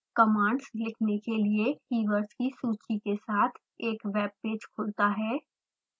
commands लिखने के लिए keywords की सूची के साथ एक webpage खुलता है